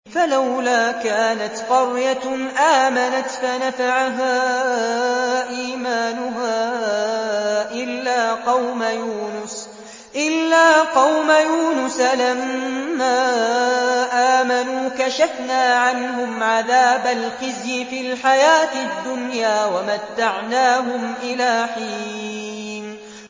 فَلَوْلَا كَانَتْ قَرْيَةٌ آمَنَتْ فَنَفَعَهَا إِيمَانُهَا إِلَّا قَوْمَ يُونُسَ لَمَّا آمَنُوا كَشَفْنَا عَنْهُمْ عَذَابَ الْخِزْيِ فِي الْحَيَاةِ الدُّنْيَا وَمَتَّعْنَاهُمْ إِلَىٰ حِينٍ